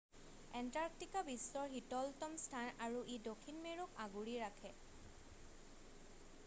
Antarctica বিশ্বৰ শীতলতম স্থান আৰু ই দক্ষিণ মেৰুক আগুৰি ৰাখে